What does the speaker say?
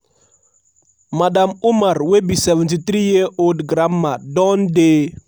madam umar wey be 73 year old grandma don dey